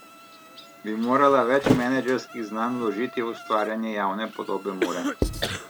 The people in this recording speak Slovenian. Bi morala več menedžerskih znanj vložiti v ustvarjanje javne podobe Mure?